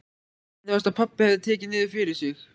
Henni fannst að pabbi hefði tekið niður fyrir sig.